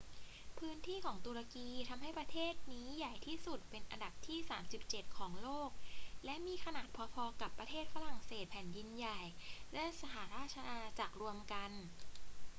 พื้นที่ของตุรกีทำให้ประเทศนี้ใหญ่ที่สุดเป็นอันดับที่ 37 ของโลก และมีขนาดพอ ๆ กับประเทศฝรั่งเศสแผ่นดินใหญ่และสหราชอาณาจักรรวมกัน